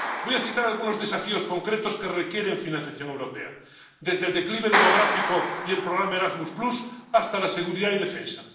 Voy a citar algunos desafíos concretos que requieren financiación europea desde el declive demográfico y el programa Erasmus hasta la seguridad y la defensa